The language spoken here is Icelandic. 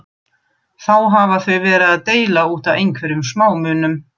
Þá hafa þau verið að deila út af einhverjum smámunum.